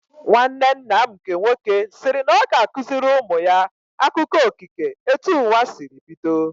Nwanne nna m nke nwoke sịrị na ọ ga-akụziri ụmụ ya akụkọ okike etu ụwa sịrị bido